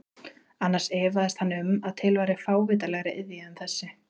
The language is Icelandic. Annars efaðist hann um að til væri fávitalegri iðja en þessi.